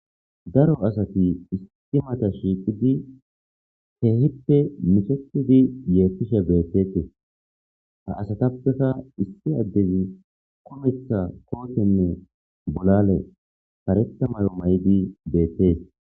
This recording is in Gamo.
daro asati istimata shiiqidi heehippe mishepidi yeetishe beettete ha asatappeka issi addezi kumetha koohthenne bolale pareta mayo may7di beettees